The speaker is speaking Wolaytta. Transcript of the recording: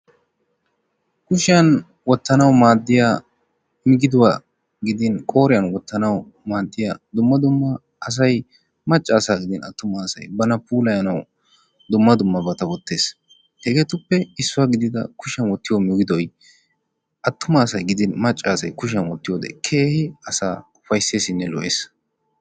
Kushiyan wottanawu maaddiya migiduwa gidin qooriyan wottanawu maaddiya dumma dumma asay macca asaynne attuma asay bana puulayanawu dumma dummabata wottees, hegeetuppe issuwa gidida kushshiyan wottiyo migidoy attuma asay gidin macca asay kushiyan wottiyode keehin asaa ufaysseesinne lo''ees.